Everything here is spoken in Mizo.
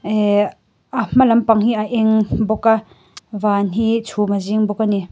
ehh a hma lam pang hi a eng bawk a van hi chhum a zing bawk a ni.